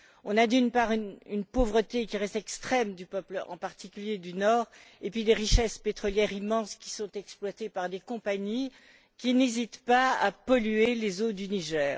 On a, d'une part, une pauvreté qui reste extrême du peuple, en particulier du nord, et, d'autre part, des richesses pétrolières immenses, qui sont exploitées par des compagnies qui n'hésitent pas à polluer les eaux du Niger.